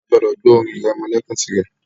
a gbọdọ gbọ orin iremolekun tirẹ.